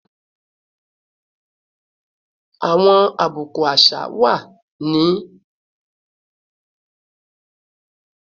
Awọn abuku aṣa wa ti o ni nkan ṣe pẹlu awọn awọ dudu dudu fun awọn obinrin ni awọn awujọ kan